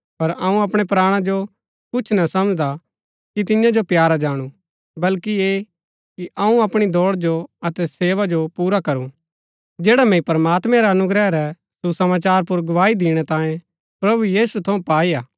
पर अऊँ अपणै प्राणा जो कुछ ना समझदा कि तियां जो प्यारा जाणु बल्कि ऐह कि अऊँ अपणी दौड़ जो अतै सेवा जो पुरा करू जैडा मैंई प्रमात्मैं रा अनुग्रह रै सुसमाचार पुर गवाही दिणै तांयें प्रभु यीशु थऊँ पाई हा